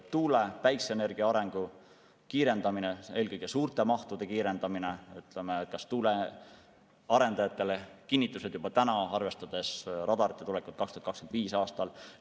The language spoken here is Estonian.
Tuule- ja päikeseenergia arengu kiirendamine, eelkõige suurte mahtude kiirendamine, näiteks tuuleenergia arendajatele kinnitused juba täna, arvestades radarite tulekut 2025. aastal.